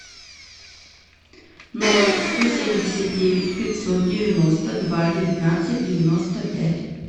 ноль сто семьдесят девять пятьсот девяносто два девятнадцать девяносто пять